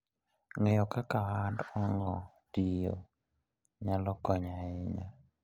Ng'eyo kaka ohand ong'o tiyo nyalo konyo ahinya.